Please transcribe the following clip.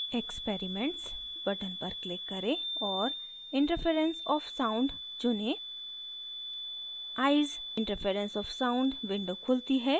experiments button पर click करें और interference of sound चुनें eyes: interference of sound window खुलती है